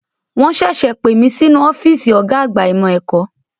Wọn ṣẹ̀ṣẹ̀ pè mí sínú ọ́fíìsì ọ̀gá àgbà ìmọ̀ ẹ̀kọ́.